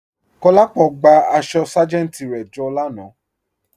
Kolápọ̀ gbà àṣọ sájẹntì rẹ jọ lànà.